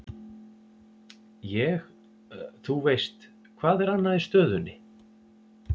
Ég, þú veist, hvað er annað í stöðunni?